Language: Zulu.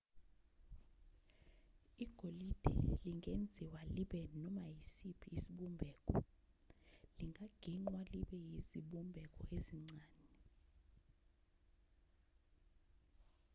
igolide lingenziwa libe noma isiphi isibumbeko lingagingqwa libe yizibumbeko ezincane